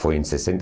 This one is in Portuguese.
Foi em sessenta